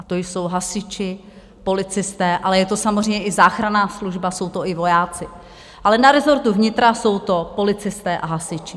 A to jsou hasiči, policisté, ale je to samozřejmě i záchranná služba, jsou to i vojáci, ale na rezortu vnitra jsou to policisté a hasiči.